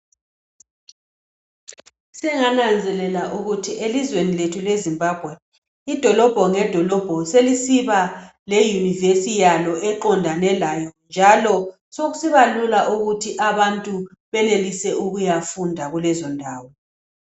Sengananzelela ukuthi elizweni lethu leZimbabwe idolobho ngedolobho selisiba le univesi yalo eqondane layo njalo sokusibalula ukuthi abantu benelise ukuyafunda kulezondawo